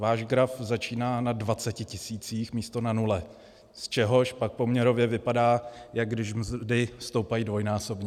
Váš graf začíná na 20 tisících místo na nule, z čehož pak poměrově vypadá, jako když mzdy stoupají dvojnásobně.